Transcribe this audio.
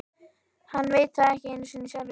Hann veit það ekki einu sinni sjálfur.